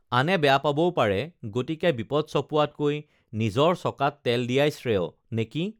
আনে বেয়া পাবও পাৰে গতিকে বিপদ চপোৱাতকৈ নিজৰ চকাত তেল দিয়াই শ্ৰেয়ঃ নেকি